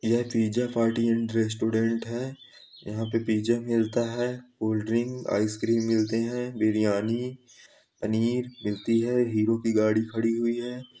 यह pizza party and restaurant है यहाँ पे पिज़्ज़ा मिलता है कोल्ड ड्रिंक आइसक्रीम मिलती है बिरियानी पनीर मिलती है हीरो की गाड़ी खड़ी हुई है।